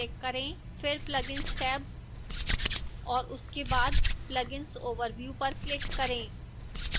फिर plugins tab और उसके बाद plugins overview पर click करें